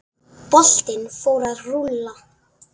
Boltinn fór að rúlla.